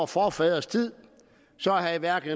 forfædres tid havde hverken